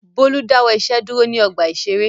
Bólú dáwọ́ iṣẹ́ dúró ní ọgbà-ìṣeré.